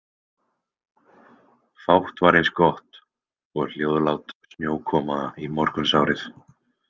Fátt var eins gott og hljóðlát snjókoma í morgunsárið.